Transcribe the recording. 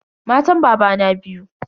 Matan babana biyu.